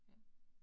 Ja